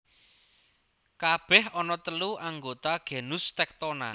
Kabèh ana telu anggota genus Tectona